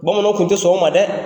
Bamananw kun tɛ sɔn o ma dɛ.